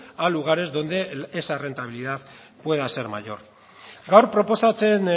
a lugares donde esa rentabilidad pueda ser mayor gaur proposatzen